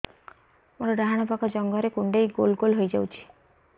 ମୋର ଡାହାଣ ପାଖ ଜଙ୍ଘରେ କୁଣ୍ଡେଇ ଗୋଲ ଗୋଲ ହେଇଯାଉଛି